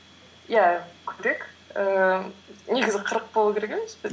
иә көбірек ііі негізі қырық болу керек емес пе